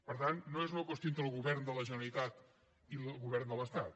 per tant no és una qüestió entre el govern de la generalitat i el govern de l’estat